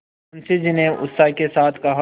मुंशी जी ने उत्साह के साथ कहा